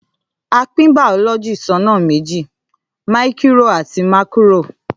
À piń bàọlọjí sọna mẹji; míkìrò àtí màkírò.